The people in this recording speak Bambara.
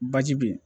Baji bɛ ye